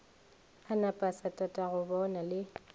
a na pasa tatagobona le